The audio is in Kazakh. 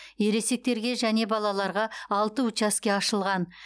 ересектерге және балаларға алты учаске ашылған